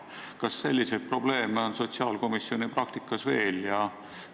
Kas selliseid probleeme on sotsiaalkomisjoni praktikas veel?